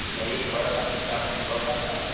Que já ia embora para, que estava indo embora para casa.